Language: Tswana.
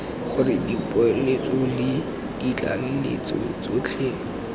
gore dipoeletso le ditlaleletso tsotlhe